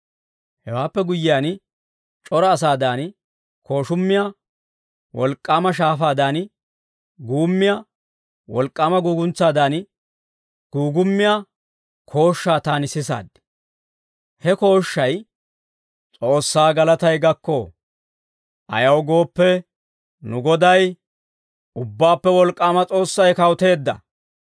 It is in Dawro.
Hewaappe guyyiyaan, c'ora asaadan kooshummiyaa, wolk'k'aama shaafaadan guummiyaa, wolk'k'aama guuguntsaadan guugummiyaa kooshshaa taani sisaad. He kooshshay, «S'oossaa galatay gakko. Ayaw gooppe, nu Goday, Ubbaappe Wolk'k'aama S'oossay kawuteedda.